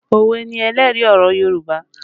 Òwe ni ẹlẹ́rìí ọ̀rọ̀ Yorùbá